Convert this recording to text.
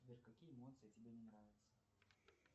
сбер какие эмоции тебе не нравятся